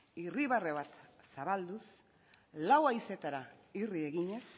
irribarre bat zabalduz lau haizeetara irri eginez